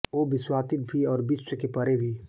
वो विश्वातीत भी है और विश्व के परे भी